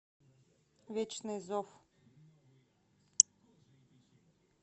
вечный зов